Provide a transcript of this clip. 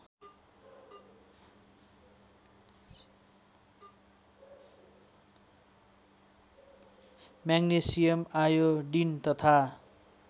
magnesium iodine तथा